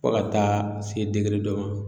Fɔ ka taa se degere dɔ ma